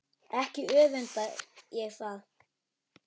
Ekki öfunda ég þá